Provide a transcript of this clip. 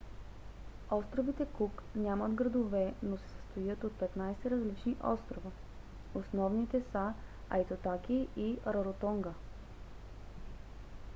островите кук нямат градове но се състоят от 15 различни острова. основните са айтутаки и раротонга